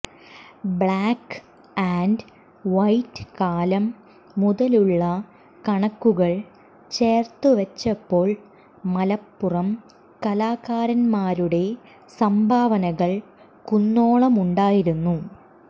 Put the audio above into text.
black and white കാലം മുതലുള്ള കണക്കുകൾ ചേർത്തുവച്ചപ്പോൾ മലപ്പുറം കലാകാരൻമാരുടെ സംഭാവനകൾ കുന്നോളമുണ്ടായിരുന്നു